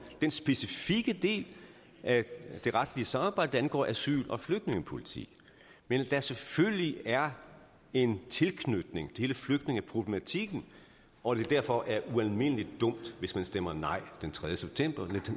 den specifikke del af det retlige samarbejde der angår asyl og flygtningepolitik men at der selvfølgelig er en tilknytning til hele flygtningeproblematikken og at det derfor er ualmindelig dumt hvis man stemmer nej